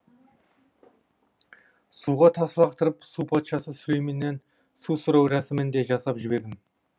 суға тас лақтырып су патшасы сүлейменнен су сұрау рәсімін де жасап жібердім